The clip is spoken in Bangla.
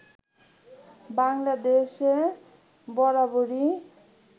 বাংলাদেশে বরাবরই